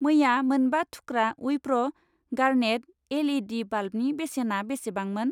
मैया मोनबा थुख्रा उइप्र' गार्नेट एल.इ.डि. बाल्बनि बेसेना बेसेबांमोन?